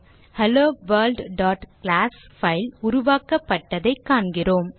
HelloWorld class file உருவாக்கப்பட்டதைக் காண்கிறோம்